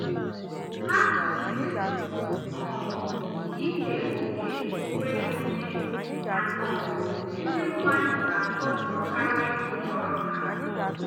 Ha kwusiri um ike oke onwe onye na um ndị mmadụ na-akatọkarị nhọrọ ha.